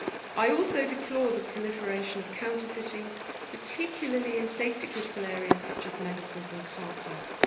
I also deplore the proliferation of counterfeiting, particularly in safety critical areas such as medicines and car parts.